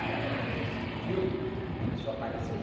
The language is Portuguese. Durante a projeção do filme, começou a aparecer